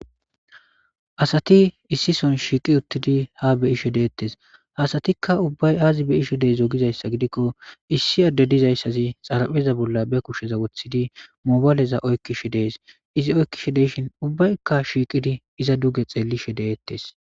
Asati issi soho shiqi utidi ha be'ishe detes ha asatika ubay aza be'ishe dizo gizaysa gidiko issi ade dizaysazi xarapheza bola ba kusheza wotidi mabayleza oykishe de'es izi oykishe de'ishe iza ubayika shiqidi duge xelishe de'etes.